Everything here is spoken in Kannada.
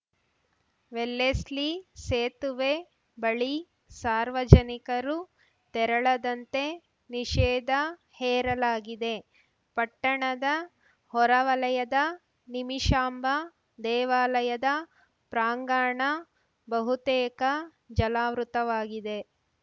ವೆಲ್ಲೆಸ್ಲಿ ಸೇತುವೆ ಬಳಿ ಸಾರ್ವಜನಿಕರು ತೆರಳದಂತೆ ನಿಷೇಧ ಹೇರಲಾಗಿದೆ ಪಟ್ಟಣದ ಹೊರವಲಯದ ನಿಮಿಷಾಂಬ ದೇವಾಲಯದ ಪ್ರಾಂಗಣ ಬಹುತೇಕ ಜಲಾವೃತವಾಗಿದೆ